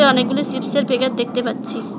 অনেকগুলি সিপ্সের প্যাকেট দেখতে পাচ্ছি।